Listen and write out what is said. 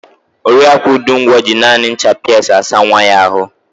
Oriaku Udungwo ji naanị ncha Piasi asa nwa ya àhụ́.